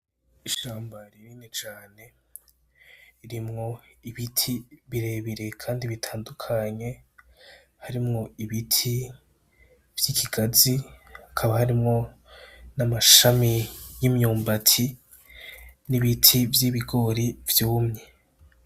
Ishamba rinini cane ririmwo ibiti birebire kandi bitandukanye, harimwo ibiti vy'ikigazi, hakaba harimwo n'amashami y'imyumbati n'ibiti vy'ibigori vyumye.